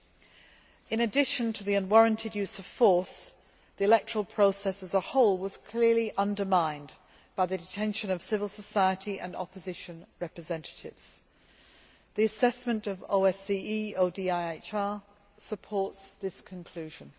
Not only was there unwarranted use of force, but the electoral process as a whole was also clearly undermined by the detention of civil society and opposition representatives. The assessment by the OSCE ODIHR supports this conclusion.